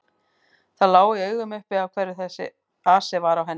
Það lá í augum uppi af hverju þessi asi var á henni.